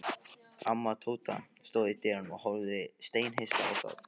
Amma Tóta stóð í dyrunum og horfði steinhissa á þá.